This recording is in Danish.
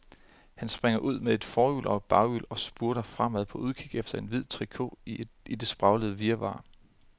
Han springer ud med et forhjul og et baghjul og spurter fremad på udkig efter en hvid trikot i det spraglede virvar.